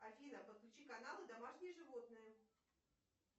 афина подключи канал домашние животные